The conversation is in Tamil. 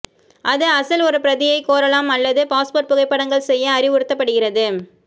அது அசல் ஒரு பிரதியை கோரலாம் அல்லது பாஸ்போர்ட் புகைப்படங்கள் செய்ய அறிவுறுத்தப்படுகிறது